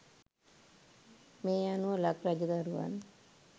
මේ අනුව ලක් රජ දරුවන්